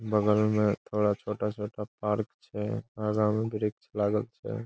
बगल में थोड़ा छोटा-छोटा पार्क छे। आगा में वृक्ष लागल छे।